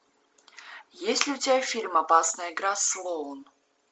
есть ли у тебя фильм опасная игра слоун